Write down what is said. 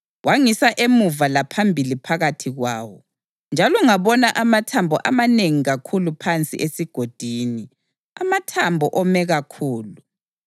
Wangisa emuva laphambili phakathi kwawo, njalo ngabona amathambo amanengi kakhulu phansi esigodini, amathambo ome kakhulu.